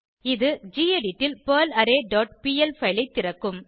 இது கெடிட் ல் பெர்லாரே டாட் பிஎல் பைல் ஐ திறக்கும்